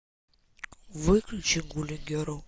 выключи гулли герл